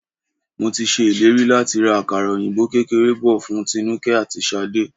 Mo ti ṣe ìlérí láti ra àkàrà òyìnbó kékeré bò fún Tinuke àti Ṣadé.